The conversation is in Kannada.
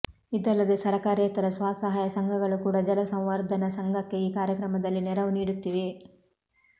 ಇದಲ್ಲದೆ ಸರಕಾರೇತರ ಸ್ವಸಹಾಯ ಸಂಘಗಳು ಕೂಡ ಜಲಸಂವರ್ಧನಾ ಸಂಘಕ್ಕೆ ಈ ಕಾರ್ಯಕ್ರಮದಲ್ಲಿ ನೆರವು ನೀಡುತ್ತಿವೆ